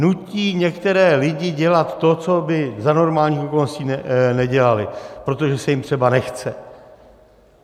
Nutí některé lidi dělat to, co by za normálních okolností nedělali, protože se jim třeba nechce.